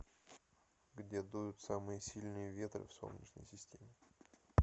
где дуют самые сильные ветры в солнечной системе